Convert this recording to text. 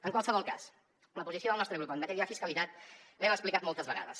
en qualsevol cas la posició del nostre grup en matèria de fiscalitat l’hem explicat moltes vegades